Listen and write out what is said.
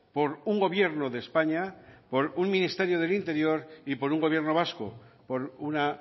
por un gobierno de españa por un ministerio del interior y por un gobierno vasco por una